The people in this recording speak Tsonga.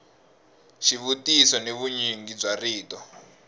xivutiso ni vunyingi bya rito